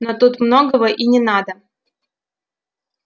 но тут многого и не надо